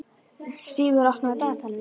Stígur, opnaðu dagatalið mitt.